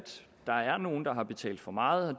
der er nogle der har betalt for meget og